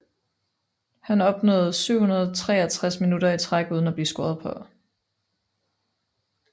Han opnåede 763 minutter i træk uden af blive scoret på